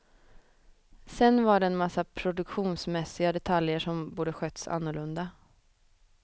Sen var det en massa produktionsmässiga detaljer som borde skötts annorlunda.